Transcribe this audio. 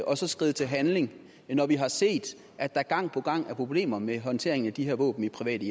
og så skride til handling når vi har set at der gang på gang er problemer med håndteringen af de her våben i private